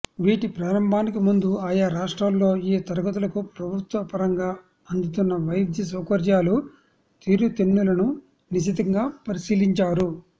వీటి ప్రారంభానికి ముందు ఆయా రాష్ట్రాల్లో ఈ తరగతులకు ప్రభుత్వపరంగా అందుతున్న వైద్యసౌకర్యాలు తీరుతెన్నులను నిశితంగా పరిశీలించారు